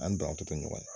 An banantɔ to ɲɔgɔn ye